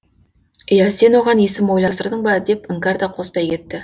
иә сен оған есім ойластырдың ба деп іңкәр да қостай кетті